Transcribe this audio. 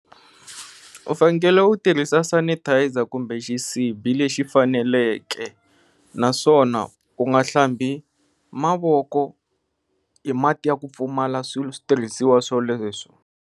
U fanekele u tirhisa sanitizer kumbe xisibi lexi faneleke naswona u nga hlambi mavoko hi mati ya ku pfumala switirhisiwa swoleswo.